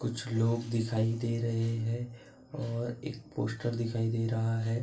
कुछ लोग दिखाई दे रहे हैं और एक पोस्टर दिखाई दे रहा है ।